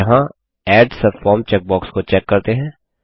अतः यहाँ add subform checkbox को चेक करते हैं